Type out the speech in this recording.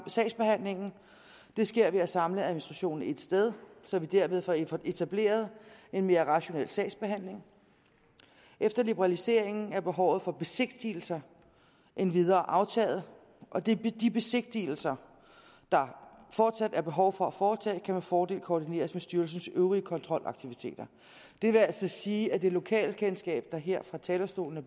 sagsbehandlingen det sker ved at samle administrationen ét sted så vi derved får etableret en mere rationel sagsbehandling efter liberaliseringen er behovet for besigtigelser endvidere aftaget og de besigtigelser der fortsat er behov for at foretage kan med fordel koordineres med styrelsens øvrige kontrolaktiviteter det vil altså sige at det lokale kendskab der her fra talerstolen er